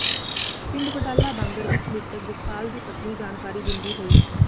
ਪਿੰਡ ਵਡਾਲਾ ਬਾਂਗਰ ਵਿੱਚ ਮ੍ਰਿਤਕ ਜਸਪਾਲ ਦੀ ਪਤਨੀ ਜਾਣਕਾਰੀ ਦਿੰਦੀ ਹੋਈ